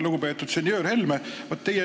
Lugupeetud senjöör Helme!